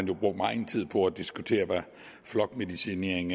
jo brugt megen tid på at diskutere hvad flokmedicinering